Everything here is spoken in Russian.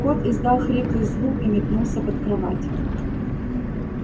кот издал хриплый звук и метнулся под кровать